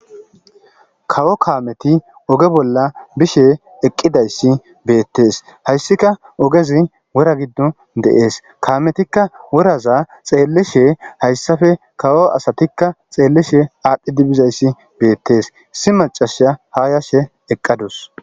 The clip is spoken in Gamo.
kawo kaameti oge bolla bishe eqqidayssi beettes hayssika ogezi wora giddo deees kaametikka woraza xeellishe hayssafe kawo asatikka xeellishe aadhphidibizayssi beettees si macasha haa yashe eqqadus